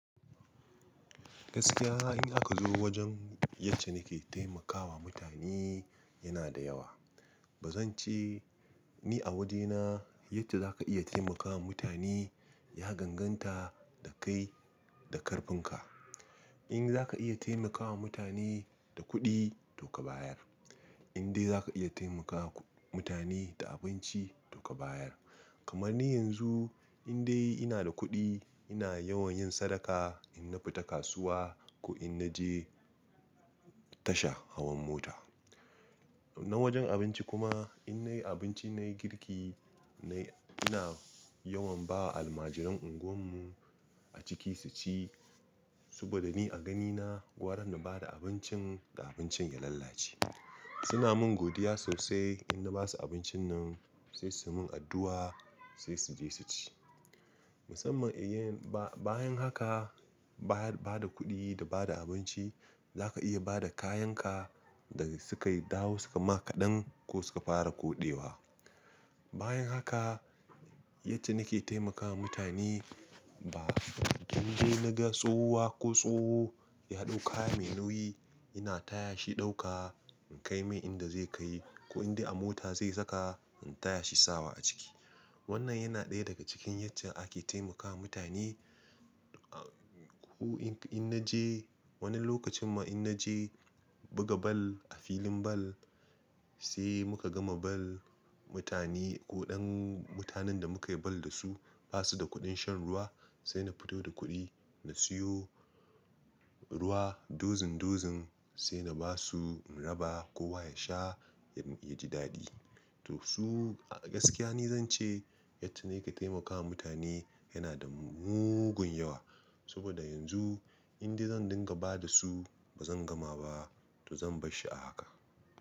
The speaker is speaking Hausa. Gaskiya in aka zo wajen yace nike taimakawa mutane yana da yawa. Ba zan ce ni a wajena yadda za ka iya taimakawa mutane ya ganganta da kai da karfin ka. In za ka iya taimakawa mutane da kuɗi to ka bayar. In dai za ka iya taimakawa mutane da abinci to ka bayar. Kaman ni yanzu in dai ina da kuɗi ina yawan yin sadaka in na fita kasuwa ko in naje tasha hawan mota. Na wajen abinci kuma in nayi abinci nayi girki nayi-- ina yawan ba almajiran unguwan mu a ciki su ci saboda ni a ganina gwara na bada abincin, da abincin ya lalace. Suna mun godiya sosai in na basu abincin nan sai su mun addu'a sai su je su ci. Musamman in yin ba-bayan haka bayar-- bada kuɗi da bada abinci za ka iya bada kayan ka da suka yi dawo suka ma kaɗan ko suka fara koɗewa. Bayan haka yacce nike taimakawa mutane ba indai naga tsohuwa ko tsoho ya ɗau kaya mai nauyi ina taya shi ɗauka in kai mai inda zai kai ko indai a mota zai saka in taya shi sawa a ciki. Wannan yana ɗaya daga cikin yacca ake taimakawa mutane. A-- ko ink in naje wani lokacin ma in naje buga bal a filin bal sai muka gama bal mutane ko ɗan mutanen da muka yi bal dasu basu da kuɗin shan ruwa sai na fito da kuɗi na siyo ruwa dozin dozin sai na basu in raba kowa ya sha ya ji daɗi. To su a gaskiya ni zance yacca nake taimakawa mutane yana da mugun yawa. Saboda yanzu inda zan dinga ba da su bazan gama ba to zan bar shi a haka.